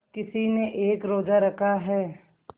किसी ने एक रोज़ा रखा है